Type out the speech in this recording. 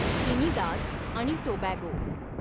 Trinidad आणि Tobago